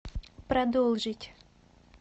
продолжить